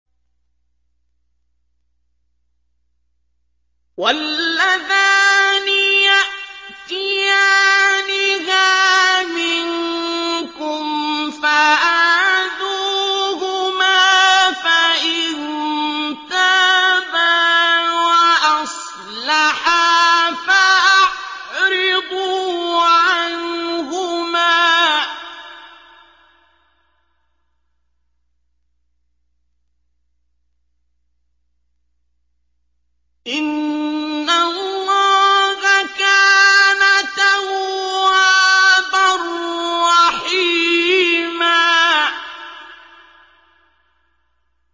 وَاللَّذَانِ يَأْتِيَانِهَا مِنكُمْ فَآذُوهُمَا ۖ فَإِن تَابَا وَأَصْلَحَا فَأَعْرِضُوا عَنْهُمَا ۗ إِنَّ اللَّهَ كَانَ تَوَّابًا رَّحِيمًا